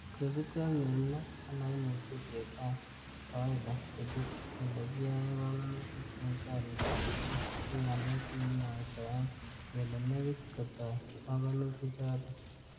Kosiibge ak nyorunet nemoimuche chetab kawaita kochut ele kiyoe pongonutik en gorik ab ribik, ko ngalek chekimwoitoen kele nekit ketoo pongonuti choton.